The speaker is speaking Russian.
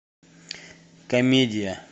комедия